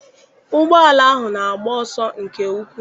Ụgbọala ahụ na-agba ọsọ nke ukwu.